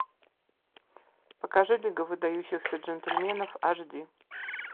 покажи лига выдающихся джентльменов аш ди